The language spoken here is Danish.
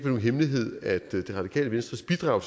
nogen hemmelighed at det radikale venstres bidrag